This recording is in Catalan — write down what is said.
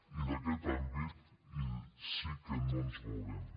i d’aquest àmbit sí que no ens mourem